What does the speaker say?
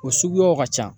O suguyaw ka ca